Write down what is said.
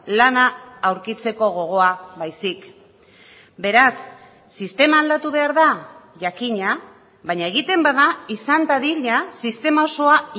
lana aurkitzeko gogoa baizik beraz sistema aldatu behar da jakina baina egiten bada izan dadila sistema osoa